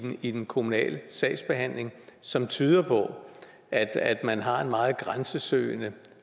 i den kommunale sagsbehandling som tyder på at at man har en meget grænsesøgende